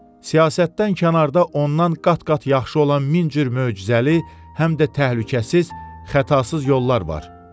Siyasətdən kənarda ondan qat-qat yaxşı olan min cür möcüzəli, həm də təhlükəsiz, xətasız yollar var.